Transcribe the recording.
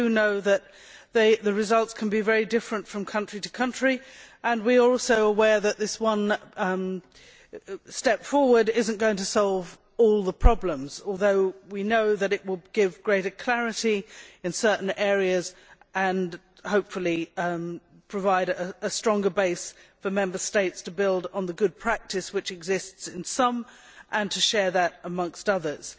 we know that the results can be very different from country to country, and we are also aware that this one step forward is not going to solve all the problems although we know that it will give greater clarity in certain areas and hopefully provide a stronger base for Member States to build on the good practice which exists in some and to share that with the others.